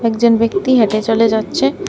একজন ব্যক্তি হেঁটে চলে যাচ্ছে।